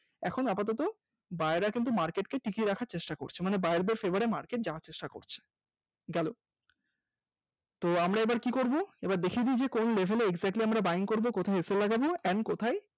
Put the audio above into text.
এখন আপাতত buyer রা কিন্তু market কে টিকিয়ে রাখার চেষ্টা করছে মানে buyer দের Favour এ market যাওয়ার চেষ্টা করছে। গেল তো আমরা এবার কি করবো এবার দেখিয়ে দি যে কোন level এ গেলে exactly আমরা buying করবো কোথায় sl লাগাবো and কোথায়